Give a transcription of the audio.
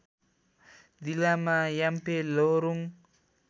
जिल्लामा याम्फे लोहोरुङ्